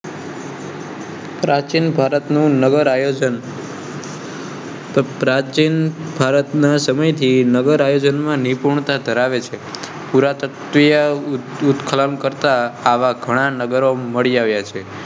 પ્રાચીન ભારતનું નગર આયોજન. પ્રાચીન ભારતના સમય થી નગર આયોજન માં નિપુણતા ધરાવે છે. પૂરાતત્વીય ઉત્ખનન કરતા આવા ઘણા નગર મળ્યા છે.